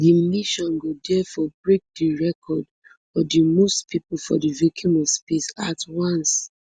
di mission go diafore break di record for di most pipo for di vacuum of space at once